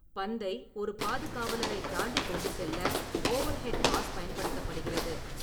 பந்தை ஒரு பாதுகாவலரைத் தாண்டி கொண்டு செல்ல ஓவர்ஹெட் பாஸ் பயன்படுத்தப்படுகிறது.